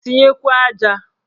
Tinyekwuo aja!